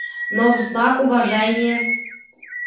но в знак уважения